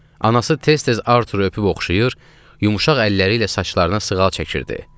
Anası tez-tez Arturu öpüb oxşayır, yumşaq əlləri ilə saçlarına sığal çəkirdi.